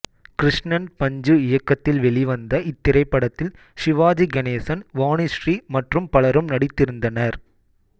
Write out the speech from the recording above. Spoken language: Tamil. கிருஷ்ணன்பஞ்சு இயக்கத்தில் வெளிவந்த இத்திரைப்படத்தில் சிவாஜி கணேசன் வாணிஸ்ரீ மற்றும் பலரும் நடித்திருந்தனர்